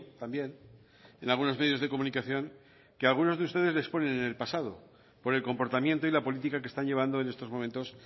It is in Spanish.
también en algunos medios de comunicación que algunos de ustedes les ponen en el pasado por el comportamiento y la política que están llevando en estos momentos